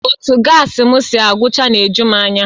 Otu gaasi m si agụchaa na-eju m anya